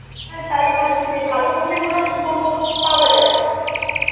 হ্যাঁ তাই ভাবছি যে ভালো movie গুলো ঠিক মত পাওয়া জায়েনা